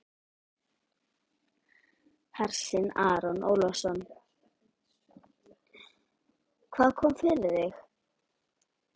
Hersir Aron Ólafsson: Hvað kom fyrir þig?